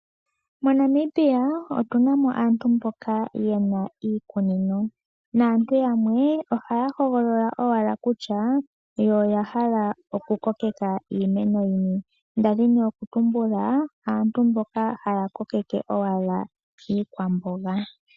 MoNamibia otuna mo aantu mboka yena iikunino, naantu yamwe ohaya hogolola owala kutya yo oya hala okukokeka iimeno yini. Nda dhini okutumbula, aantu mboka haya kokeke owala iikwamboga.